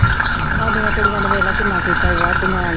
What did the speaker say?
ਸਾਡੀਆਂ ਕੁੜੀਆਂ ਨੇ ਦੇਖ ਲਾ ਕਿੰਨਾ ਕੀਤਾ ਸੀ ਵਾਢੀਆਂ।